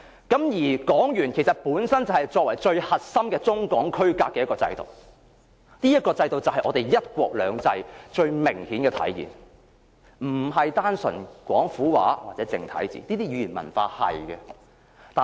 港元是區隔中港最核心的制度。這個制度是"一國兩制"最明顯的體現，不是廣府話或繁體字這些語言文化的體現。